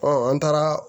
an taara